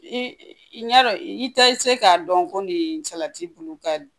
I i ya dɔn i te se k'a dɔn ko nin salati bulu ka di